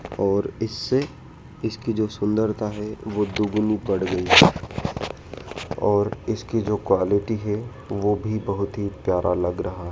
और इससे इसकी जो सुंदरता है वो दुगुनी बढ़ गई है और इसकी जो क्वॉलिटी है वो भी बहोत ही प्यारा लग रहा--